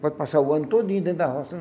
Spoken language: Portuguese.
Pode passar o ano todinho dentro da roça.